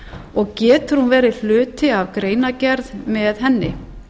og getur hún verið hluti af greinargerð með henni